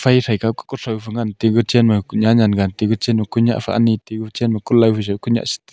ai thai ke ku koh thao pe ngan tu chan ma ku nya ngan gan tu chan ku lao phao chu ku nyiah stire.